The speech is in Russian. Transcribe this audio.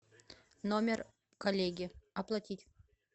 номер коллеги оплатить